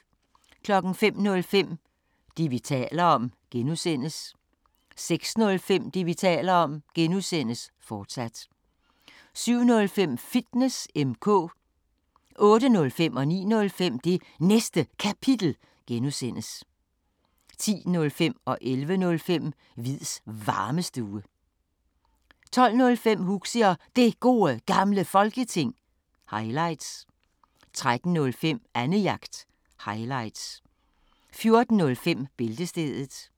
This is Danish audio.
05:05: Det, vi taler om (G) 06:05: Det, vi taler om (G), fortsat 07:05: Fitness M/K 08:05: Det Næste Kapitel (G) 09:05: Det Næste Kapitel (G) 10:05: Hviids Varmestue 11:05: Hviids Varmestue 12:05: Huxi og Det Gode Gamle Folketing – highlights 13:05: Annejagt – highlights 14:05: Bæltestedet